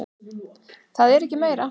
Það er ekki meira.